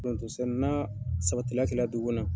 n'a sabatila kila dugu kɔnɔ.